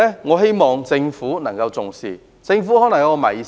我希望政府重視這個問題。